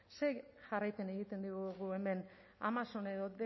zer jarraipen egiten diegu guk hemen amazon edo